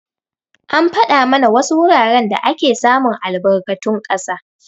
An fada mana wasu wuraren da ake samun albarkatun ƙasa.